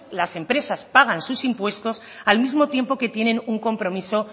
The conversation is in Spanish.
las empresas pagan sus impuestos al mismo tiempo que tienen un compromiso